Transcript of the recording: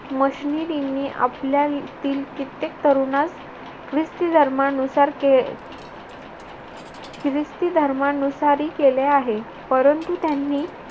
मशनीरींनी आपल्या येथील कित्येक तरुणास ख्रिस्ती धर्मानुसार के अह ख्रिस्ती धर्मानुसार केले आहे परंतु त्यांनी